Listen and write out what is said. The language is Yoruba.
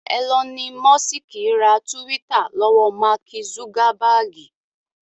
Ẹlọni mọ́sìkì ra túwítà lọ́wọ́ Máàkì zugabaagi